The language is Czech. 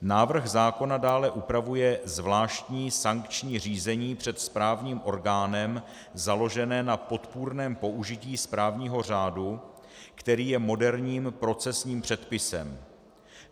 Návrh zákona dále upravuje zvláštní sankční řízení před správním orgánem založené na podpůrném použití správního řádu, který je moderním profesním předpisem.